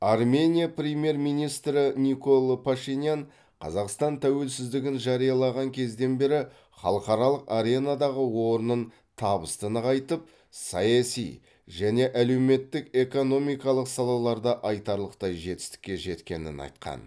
армения премьер министрі николо пашинян қазақстан тәуелсіздігін жариялаған кезден бері халықаралық аренадағы орнын табысты нығайтып саяси және әлеуметтік экономикалық салаларда айтарлықтай жетістікке жеткенін айтқан